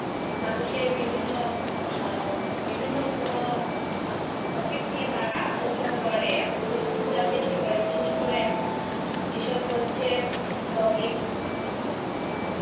মানুষের বিভিন্ন আহ বিভিন্ন কোন আহ topic নিয়ে তারা আলোচনা করে এবং বিনোদন দেওয়ার চেষ্টা করে বিশেষ করে এখন যেসব হচ্ছে vlogging